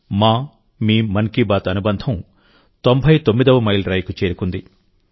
మా మీ మన్ కీ బాత్ అనుబంధం తొంభై తొమ్మిదవ మైలురాయికి చేరుకుంది